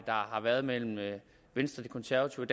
har været mellem venstre de konservative